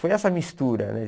Foi essa mistura, né?